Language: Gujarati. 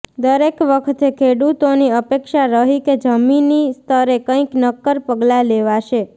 દરેક વખતે ખેડૂતોની અપેક્ષા રહી કે જમીની સ્તરે કંઇક નક્કર પગલાં લેવાશે